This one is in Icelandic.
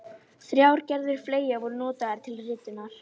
Starfsmenn ráðuneyta á skólabekk